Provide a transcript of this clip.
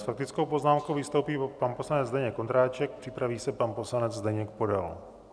S faktickou poznámkou vystoupí pan poslanec Zdeněk Ondráček, připraví se pan poslanec Zdeněk Podal.